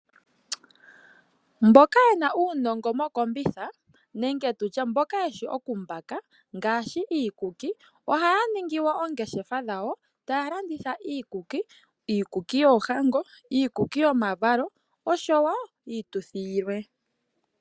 Mboka yena uunongo mokombitha nenge tutye mboka yeshi okumbaka ngaashi iikuki, ohaya ningi wo oongeshefa dhawo. Taya landitha iikuki, iikuki yoohango, iikuki yomavalo osho wo iituthi yilwe.